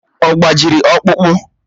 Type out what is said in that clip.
Ọ gbajiri ọkpụkpụ?